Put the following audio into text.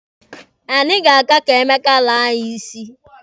Anyị ga-aga ka Emeka laa anyị isi.